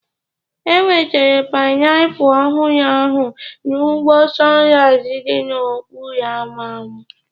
E nwetara painiapulu ọhụrụ ahụ n'ugbo Sunrise dị n'okporo ámá m.